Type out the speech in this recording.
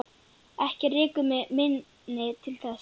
Ekki rekur mig minni til þess.